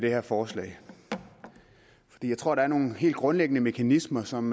det her forslag for jeg tror der er nogle helt grundlæggende mekanismer som